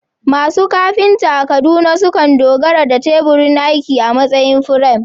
Masu kafinta a Kaduna sukan dogara da teburin aiki a matsayin firam